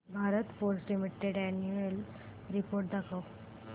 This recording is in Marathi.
Bharat forge limited annual report दाखव